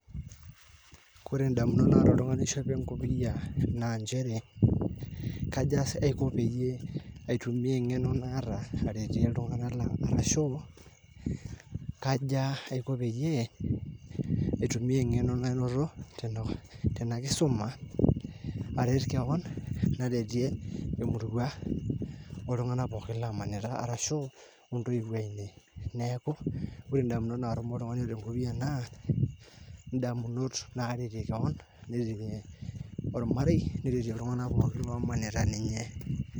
ore ndamunot naata oltung'ani oishopo enkopia naa njere kaja aiko peyie aitumia nengeno naata aretie iltunganak lang arashu kaaja aiko peyie aitumia engeno nanoto tenakisuma areet kewon naretie emurua oltunng'anak pookin lamanita arashu ontoiwuo ainei neeku wore ndamunot natuum oltungani naa ndamunot naretie kewon neteyie olmarei neretie iltung'anak omanita ninye